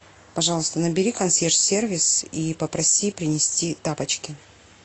пожалуйста набери консьерж сервис и попроси принести тапочки